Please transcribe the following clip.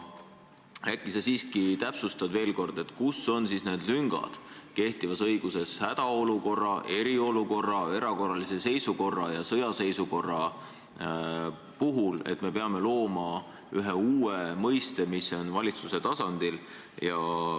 Äkki sa siiski täpsustad veel, kus on siis need lüngad kehtivas õiguses hädaolukorra, eriolukorra, erakorralise seisukorra ja sõjaseisukorra puhul, et me peame looma ühe uue mõiste, mis on seotud valitsuse tasandiga?